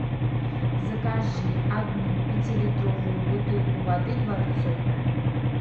закажи одну пятилитровую бутылку воды дворцовая